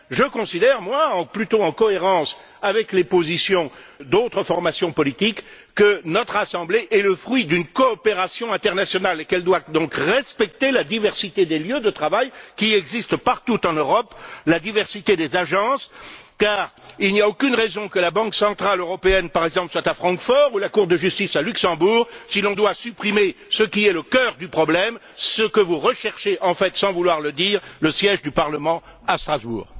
Pour ma part, je considère plutôt, en cohérence avec les positions d'autres formations politiques, que notre Assemblée est le fruit d'une coopération internationale et qu'elle doit donc respecter la diversité des lieux de travail qui existent partout en Europe, la diversité des agences, car il n'y a aucune raison, par exemple, que la Banque centrale européenne soit à Francfort ou la Cour de justice à Luxembourg si l'on doit supprimer ce qui est le cœur du problème et que vous recherchez sans vraiment vouloir le dire le siège du Parlement à Strasbourg.